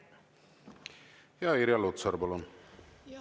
Irja Lutsar, palun!